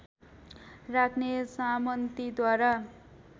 राख्ने सामन्तीद्वारा